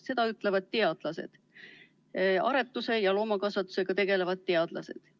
Seda ütlevad teadlased, aretuse ja loomakasvatusega tegelevad teadlased.